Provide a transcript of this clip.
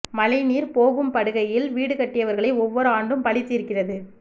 மழை நீர் போகும் படுகையில் வீடு கட்டியவர்களை ஒவ்வொரு ஆண்டும் பழி தீர்க்கிறது